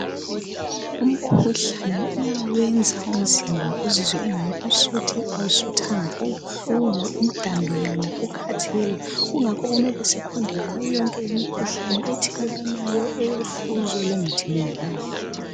Umkhuhlane uyawenza umzimba uzizwe engani usuthu awusuthanga ubuhlungu umdambiyana ukhathele kungakho kumele sifunde ngayo yonke imikhuhlane ethelelwanayo , elufuzo lengathelelwanayo.